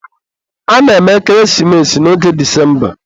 a na-eme ekeresimesi n'oge Disemba.